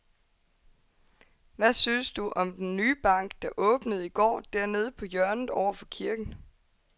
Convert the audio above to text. Hvad synes du om den nye bank, der åbnede i går dernede på hjørnet over for kirken?